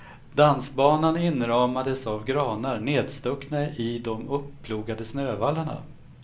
Dansbanan inramades av granar nedstuckna i de uppplogade snövallarna.